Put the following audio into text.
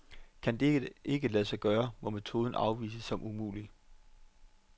Kan dette ikke lade sig gøre, må metoden afvises som umulig.